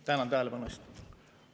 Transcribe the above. Tänan tähelepanu eest!